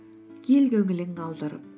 ел көңілін қалдырып